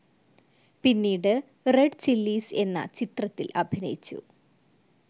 പിന്നീട് Red Chillies എന്ന ചിത്രത്തിൽ അഭിനയിച്ചു.